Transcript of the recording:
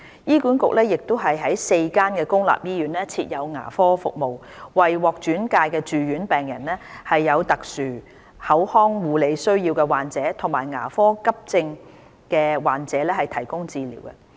醫院管理局亦於4間公立醫院設有牙科服務，為獲轉介的住院病人、有特殊口腔護理需要的患者及牙科急症的患者提供治療。